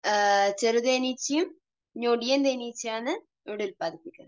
ചെറുതേനീച്ചയും ഞൊടിയൻ തേനീച്ചയുമാണ് ഇവിടെ ഉൽപ്പാദിപ്പിക്കുന്നത്.